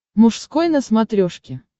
мужской на смотрешке